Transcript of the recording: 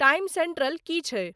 Time central कि छै ?